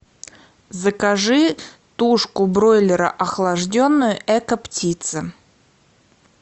закажи тушку бройлера охлажденную экоптица